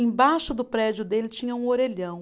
Embaixo do prédio dele tinha um orelhão.